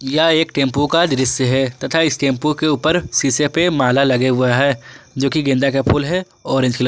यह एक टेंपो का दृश्य है तथा इस टेंपो के ऊपर शीशे पे माला लगे हुआ है जोकि गेंदा का फूल है ऑरेंज कलर ।